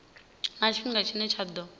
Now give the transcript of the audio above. na tshifhinga tshine tsha ḓo